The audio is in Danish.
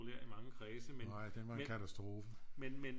Populær i mange kredse men men men